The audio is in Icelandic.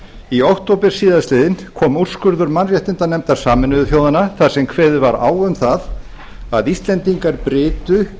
í október síðastliðinn kom úrskurður mannréttindanefndar sameinuðu þjóðanna þar sem kveðið var á um það að íslendingar brytu